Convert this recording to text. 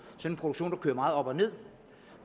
en produktion der kører meget op og nederst